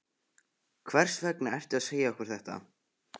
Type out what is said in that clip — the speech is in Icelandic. Hvers vegna ertu að segja okkur þetta?